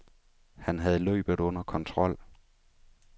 Han havde løbet under kontrol.